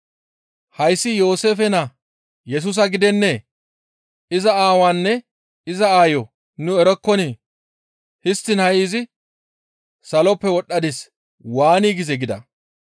«Hayssi Yooseefe naa Yesusa gidennee? Iza aawaanne iza aayo nu erokkonii? Histtiin ha7i izi, ‹Saloppe wodhdhadis› waani gizee?» gida.